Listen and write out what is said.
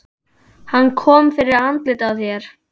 Hvað kom fyrir andlitið á þér?